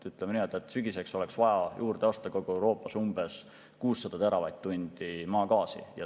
Ütleme nii, et sügiseks oleks vaja kogu Euroopas juurde osta 600 teravatt-tundi maagaasi.